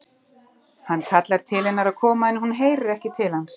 Hann kallar til hennar að koma en hún heyrir ekki til hans.